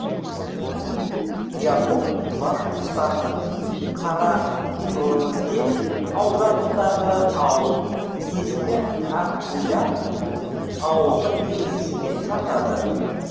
якуп башқұртстанның карайыдель ауданындағы ауыл ескі акбуляк ауылдық кеңесіне жатады